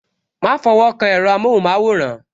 Ma fọwọ́ kan èro amohun maworan